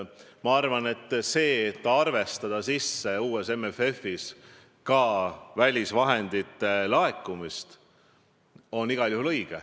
Ma arvan, et igal juhul on õige arvestada sisse uue MFF-i raames välisvahendite laekumist.